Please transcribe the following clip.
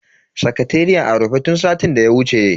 Sakateriyan a rufe tun satin daya wuce.